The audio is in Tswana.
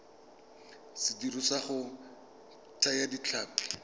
sediriswa sa go thaya ditlhapi